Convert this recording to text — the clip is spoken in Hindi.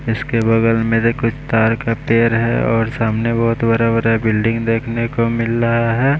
जिसके बगल में से कुछ तार का पेर है और सामने बहुत बरा बरा बिल्डिंग देखने को मिल लहा है।